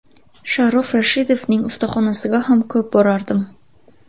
Sharof Rashidovning ustaxonasiga ham ko‘p borardim.